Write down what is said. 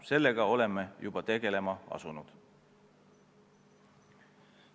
Sellega oleme juba tegelema asunud.